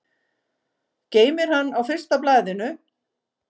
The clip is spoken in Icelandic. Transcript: Geymir hann á fyrsta blaðinu.